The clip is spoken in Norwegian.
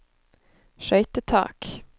skøytetak